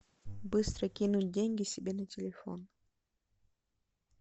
быстро кинуть деньги себе на телефон